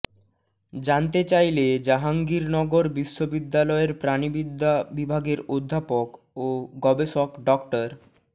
জানতে চাইলে জাহাঙ্গীরনগর বিশ্ববিদ্যালয়ের প্রাণিবিদ্যা বিভাগের অধ্যাপক ও গবেষক ড